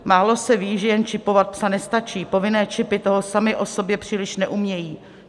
Málo se ví, že jen čipovat psa nestačí, povinné čipy toho samy o sobě příliš neumějí.